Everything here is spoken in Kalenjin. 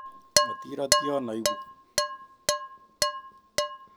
Motirotyon oibu